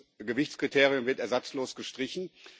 das Gewichtskriterium wird ersatzlos gestrichen.